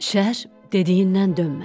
Şər dediyindən dönmədi.